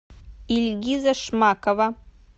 ильгиза шмакова